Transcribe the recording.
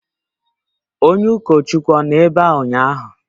Onye ụkọchukwu ọ nọ ebe a ụnyaahụ?